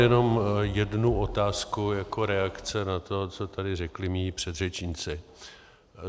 Jenom jednu otázku jako reakce na to, co tady řekli mí předřečníci.